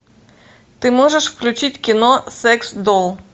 ты можешь включить кино секс долл